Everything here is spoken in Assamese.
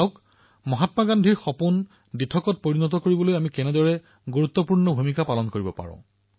চাওক মহাত্মা গান্ধীৰ সপোন বাস্তৱায়িত কৰিবলৈ আমি কিমান গুৰুত্বপূৰ্ণ ভূমিকা পালন কৰিব পাৰো